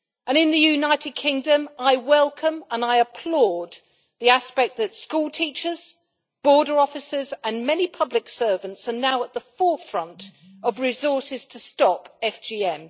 In the United Kingdom, I welcome and applaud the fact that schoolteachers, border officers and many public servants are now at the forefront of resources to stop FGM.